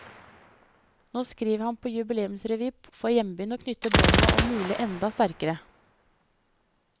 Nå skriver han på jubileumsrevy for hjembyen og knytter båndene om mulig enda sterkere.